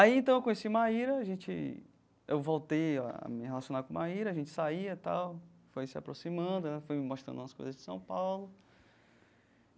Aí então eu conheci Maíra a gente, eu voltei a me relacionar com Maíra, a gente saía tal, foi se aproximando, ela foi me mostrando umas coisas de São Paulo.